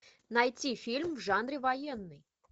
найти фильм в жанре военный